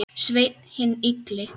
Sveinn hinn illi.